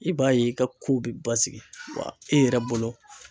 I b'a ye i ka kow bɛ basigi wa e yɛrɛ bolo